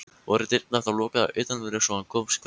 Voru dyrnar þá lokaðar að utanverðu svo hann komst hvergi.